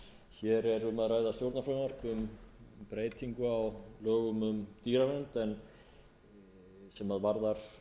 hér er um að ræða stjórnarfrumvarp um breytingu á lögum um dýravernd sem varðar